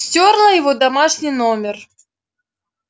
стёрла его домашний номер